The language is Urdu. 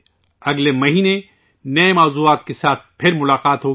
اگلے مہینے آپ سے نئے موضوعات کے ساتھ پھر ملاقات ہو گی